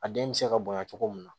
A den bɛ se ka bonya cogo min na